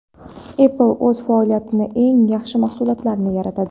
Apple o‘z toifalarida eng yaxshi mahsulotlarni yaratadi.